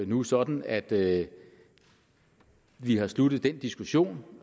nu sådan at at vi har sluttet den diskussion